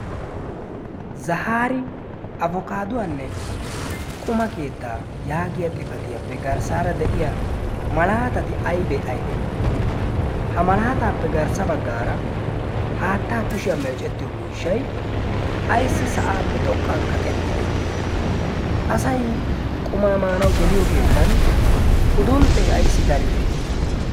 zahaari afokaaduwaanne quma keettaa yaagiya xifatiyaappe garssaara de'iya malaatati aybee aybee? ha malaataappe garssa baggaara haattaa kushiyaa meecettiyo miishshay ayssi sa'aappe xoqqan kaqettide asay qumaa maanawu geliyo keettan udunxxee ayssi daride?